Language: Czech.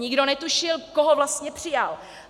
Nikdo netušil, koho vlastně přijal.